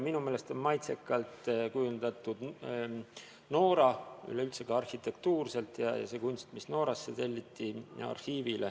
Minu meelest on maitsekalt kujundatud Noora, nii üleüldse arhitektuurselt kui ka see kunst, mis Noora arhiivihoonele telliti.